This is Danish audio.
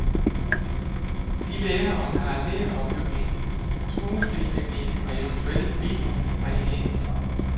De lærer om karakteropbygning, skuespilteknik og eventuelt videoredigering.